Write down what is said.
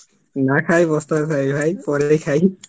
না খ্যায়া ই পস্তাতে চাই ভাই, পরেই খাই